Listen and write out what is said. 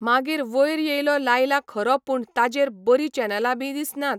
मागीर वयर येयलो लायला खरो पूण ताजेर बरी चॅनलां बी दिसनात.